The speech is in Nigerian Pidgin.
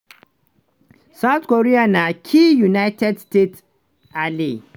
south korea na key united states ally.